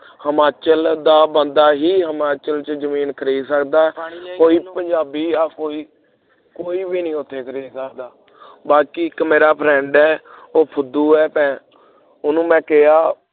Himachal ਦਾ ਬੰਦਾ Himachal ਚ ਜਮੀਨ ਖਰੀਦ ਸਕਦਾ ਹੈ ਕੋਈ ਪੰਜਾਬੀ ਜਾ ਕੋਈ ਕੋਈ ਵੀ ਨਹੀਂ ਉੱਥੇ ਖਰੀਦ ਸਕਦਾ ਬਾਕੀ ਇਕ ਮੇਰਾ friend ਹੈ ਓਹੋ ਫੁਦੂ ਹੈ ਪੈ ਉਹਨੂੰ ਮੈਂ ਕਿਹਾ